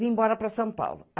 Vim embora para São Paulo.